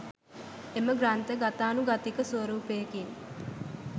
එම ග්‍රන්ථ ගතානුගතික ස්වරූපයකින්